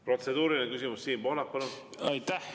Protseduuriline küsimus, Siim Pohlak, palun!